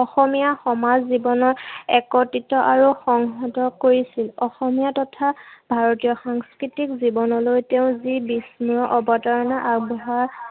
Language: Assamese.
অসমীয়া সমাজ জীৱনত একত্ৰিত আৰু সংংহত কৰিছিল। অসমীয়া তথা ভাৰতীয় সাংস্কৃতিক জীৱনলৈ তেওঁ যি বিস্মৰণীয় অৱতাৰণা আগবঢ়া